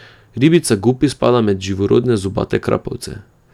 Ribica gupi spada med živorodne zobate krapovce.